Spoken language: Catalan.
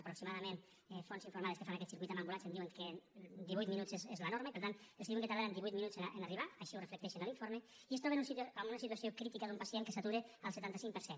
aproximadament fonts informades que fan aquest circuit en ambulància em diuen que divuit minuts és la norma i per tant els diuen que tardaran divuit minuts en arribar així ho reflecteixen a l’informe i es troben amb una situació crítica d’un pacient que satura al setanta cinc per cent